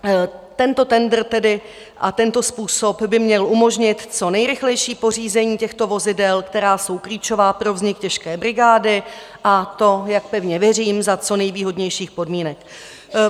Tento tendr tedy a tento způsob by měl umožnit co nejrychlejší pořízení těchto vozidel, která jsou klíčová pro vznik těžké brigády, a to, jak pevně věřím, za co nejvýhodnějších podmínek.